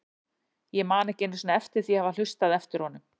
Ég man ekki einu sinni eftir því að hafa hlustað eftir honum.